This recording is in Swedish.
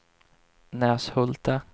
Näshulta